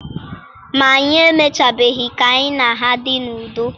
Ma, anyị emechabeghị ka anyị na ha dị n'udo.